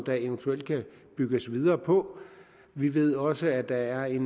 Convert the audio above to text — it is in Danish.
der eventuelt kan bygges videre på vi ved også at der er